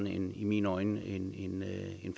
en i mine øjne